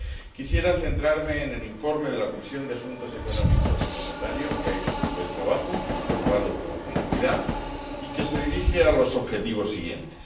Quisiera centrarme en el informe de la Comisión de Asuntos Económicos y Monetarios, que ha hecho un buen trabajo, aprobado por unanimidad, y que se dirige a los objetivos siguientes.